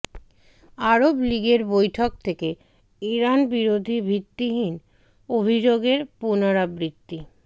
আরব লীগের বৈঠক থেকে ইরান বিরোধী ভিত্তিহীন অভিযোগের পুনরাবৃত্তি